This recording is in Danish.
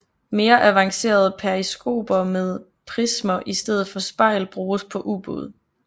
Mere avancerede periskoper med prismer i stedet for spejl bruges på ubåde